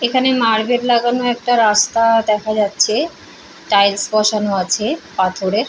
এখানে মার্ভেল লাগানো একটি রাস্তা-আ দেখা যাচ্ছে। টাইলস বসানো আছে পাথরের।